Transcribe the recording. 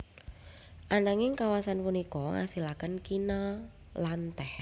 Ananging kawasan punika ngasilaken kina lan teh